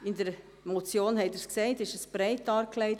In der Motion – Sie haben es gesehen – ist dies breit dargelegt;